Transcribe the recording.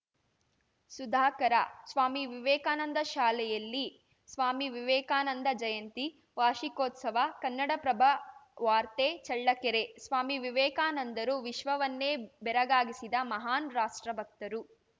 ಸುಧಾಕರ ಸ್ವಾಮಿ ವಿವೇಕಾನಂದ ಶಾಲೆಯಲ್ಲಿ ಸ್ವಾಮಿ ವಿವೇಕಾನಂದ ಜಯಂತಿ ವಾರ್ಷಿಕೋತ್ಸವ ಕನ್ನಡಪ್ರಭ ವಾರ್ತೆ ಚಳ್ಳಕೆರೆ ಸ್ವಾಮಿ ವಿವೇಕಾನಂದರು ವಿಶ್ವವನ್ನೇ ಬೆರಗಾಗಿಸಿದ ಮಹಾನ್‌ ರಾಷ್ಟ್ರಭಕ್ತರು